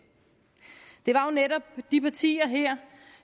det var jo netop de partier her